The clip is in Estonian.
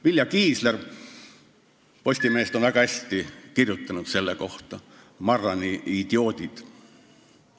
Vilja Kiisler Postimehest on selle kohta väga hästi öelnud: Marrani idioodid.